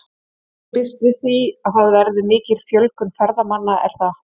Enginn býst við að það verði mikil fjölgun ferðamanna er það?